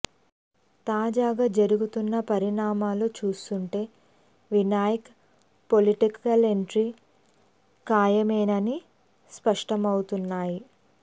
తాజాగా జరుగుతున్న పరిణామాలు చూస్తుంటే వినాయక్ పొలిటికల్ ఎంట్రీ ఖాయమేనని స్పష్టమవుతున్నాయి